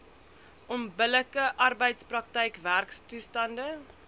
onbillike arbeidsprakryk werktoestande